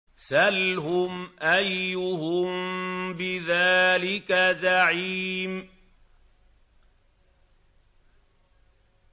سَلْهُمْ أَيُّهُم بِذَٰلِكَ زَعِيمٌ